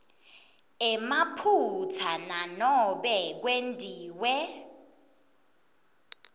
emaphutsa nanobe kwentiwe